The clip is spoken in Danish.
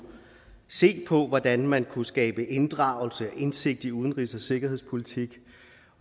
se på hvordan man kunne skabe inddragelse og indsigt i udenrigs og sikkerhedspolitik